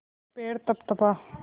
पैर तपतपा